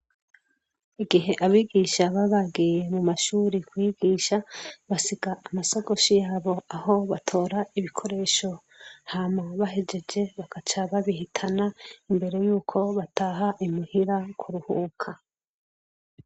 Igihe abigisha baba bagiye mu mashure kwigisha, basiga amasakoshi yabo aho batora ibikoresho . Hama bahejeje, bagaca babihitana imbere yuko bataha imuhira kuruhuka